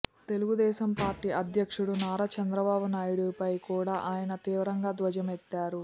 Telugu Desam party అధ్యక్షుడు నారా చంద్రబాబు నాయుడిపై కూడా ఆయన తీవ్రంగా ధ్వజమెత్తారు